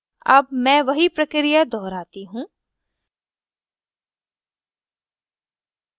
अब मैं वही प्रक्रिया दोहराती हूँ